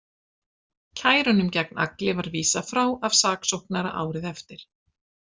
Kærunum gegn Agli var vísað frá af saksóknara árið eftir.